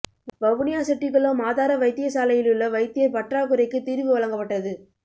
வவுனியா செட்டிக்குளம் ஆதார வைத்தியசாலையிலுள்ள வைத்தியர் பற்றாக்குறைக்கு தீர்வு வழங்கப்பட்டது